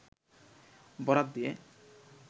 বরাত দিয়ে